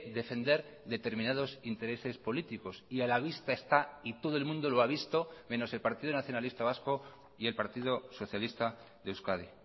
defender determinados intereses políticos y a la vista está y todo el mundo lo ha visto menos el partido nacionalista vasco y el partido socialista de euskadi